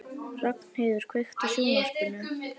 Ragnheiður, kveiktu á sjónvarpinu.